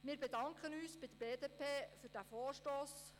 Wir bedanken uns bei der BDP für diesen Vorstoss.